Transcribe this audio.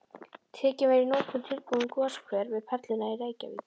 Tekinn var í notkun tilbúinn goshver við Perluna í Reykjavík.